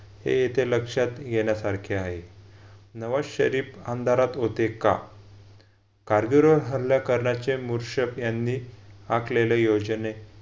हे इथे लक्षात घेण्यासारखे आहे. नवाज शरीफ अंधारात होते का? कारगिल वर हल्ला हल्ला करण्याचे मुशरफ यांनी आखलेली योजने